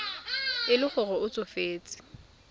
e le gore o tsofetse